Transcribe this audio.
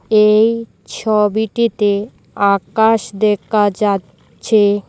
এই ছবিটিতে আকাশ দেকা যা চ্ছে।